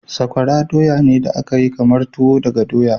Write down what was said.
Sakwara doya ne da aka yi kamar tuwo daga doya.